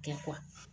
Kɛ